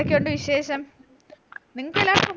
എന്തൊക്കെയുണ്ട് വിശേഷം നിങ്ങക്കെല്ലാർക്കും